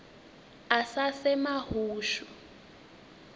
asasemahushu